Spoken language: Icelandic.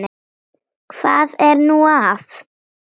Hvað er nú það?